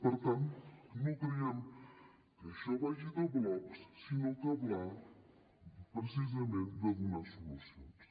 per tant no creiem que això vagi de blocs sinó que va precisament de donar solucions